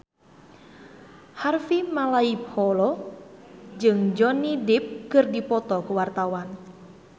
Harvey Malaiholo jeung Johnny Depp keur dipoto ku wartawan